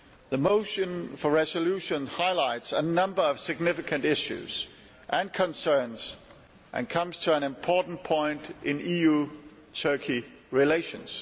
The motion for a resolution highlights a number of significant issues and concerns, and comes at an important point in EU Turkey relations.